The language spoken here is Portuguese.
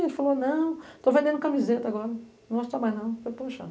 Ele falou, não, estou vendendo camiseta agora, não gosto foi para o